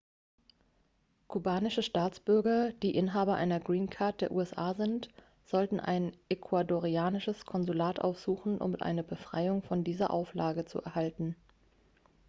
kubanische staatsbürger die inhaber einer green card der usa sind sollten ein ecuadorianisches konsulat aufsuchen um eine befreiung von dieser auflage zu erhalten